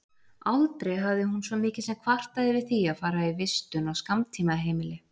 Aldrei hafði hún svo mikið sem kvartað yfir því að fara í vistun á skammtímaheimili.